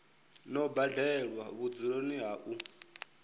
no badelwa vhudzuloni ha u